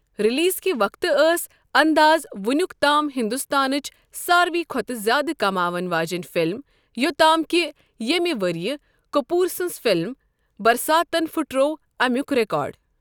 Release کہِ وقتہٕ ٲس 'انداز' وۄنِیُک تام ہندوستانٕچ ساروےٕ کھۅتہٕ زیادٕ کماون واجنۍ فِلم، یوٚتام کہِ ییٚمے ؤرۍ یہِ کپور سٕنٛز فِلم 'برساتن' پھُٹروو امیُک ریکارڈ۔